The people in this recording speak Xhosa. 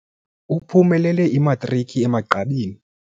Uphumelele imatriki emagqabini.